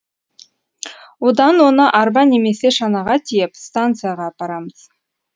одан оны арба немесе шанаға тиеп станцияға апарамыз